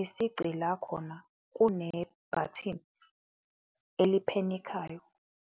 Isici la khona kune bhathini eli-panic-ayo,